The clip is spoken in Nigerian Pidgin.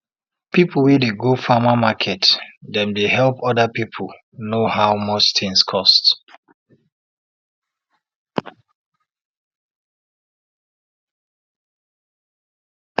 people wey dey go farmer market dem dey help oda piple know how much tins cost